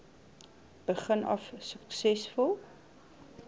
begin af suksesvol